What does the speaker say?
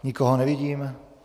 Nikoho nevidím.